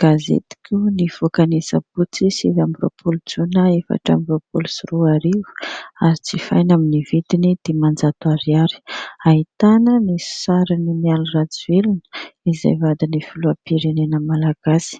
Gazetiko nivoaka ny sabotsy sivy ambiroam-poly jona efatra ambiroam-polo sy roa arivo, azo jifaina amin'ny vidiny dimanjato ariary. Ahitana ny sarin'i Mialy Rajoelina izay vadiny filoham-pirenena malagasy